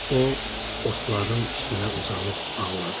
O, otların üstünə uzanıb ağladı.